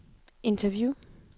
interview